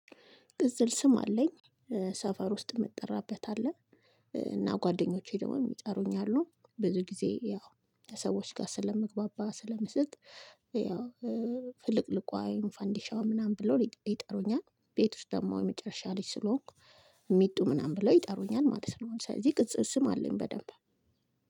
ቅጽል ስም አለኝ ሰፈር ውስጥ የምጠራበት አለ እና ጓደኞቼ ደግሞ የሚጠሩኝ አሉ ብዙ ጊዜ ያው ከሰዎች ጋር ስለመግባባ ስለምስቅ ያው ፍልቅልቋ ወይም ፈንዲሻው ፈንዲሻውን ምናምን ብሎ ይጠሩኛል ቤት ውስጥ ደግሞ የመጨረሻ ልጅ ስለሆንኩ ሚጡ ምናምን ብሎ ይጠሩኛል ማለት ነው ስለዚህ ቅጽል ስም አለኝ በደንብ።